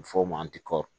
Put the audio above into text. A bɛ f'o ma tikɔri